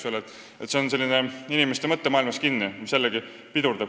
Nii et see on ka inimeste mõttemaailmas kinni, mis jällegi pidurdab laste saamist.